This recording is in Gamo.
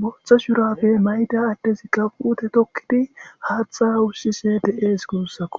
booththo shurapfe mayda addezikka puute tokkidi haatha wussise deees guussakko